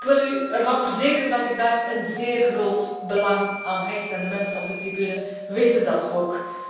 Ik wil u ervan verzekeren dat ik daar een zeer groot belang aan hecht en de mensen op de tribune weten dat